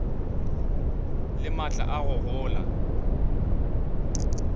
le maatla a go gola